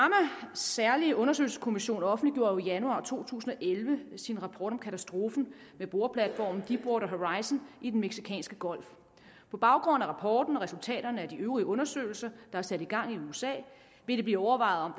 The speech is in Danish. særlige undersøgelseskommission offentliggjorde jo i januar to tusind og elleve sin rapport om katastrofen med boreplatformen deepwater horizon i den mexicanske golf på baggrund af rapporten og resultaterne af de øvrige undersøgelser der er sat i gang i usa vil det blive overvejet om